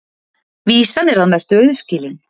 Vísan er að mestu auðskilin.